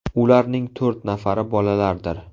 Ularning to‘rt nafari bolalardir.